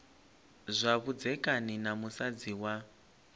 zwa vhudzekani na musadzi wa